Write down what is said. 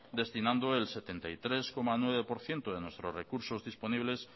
destinando el setenta y tres coma nueve por ciento de nuestros recursos disponibles